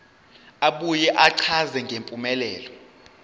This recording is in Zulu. abuye achaze ngempumelelo